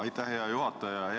Aitäh, hea juhataja!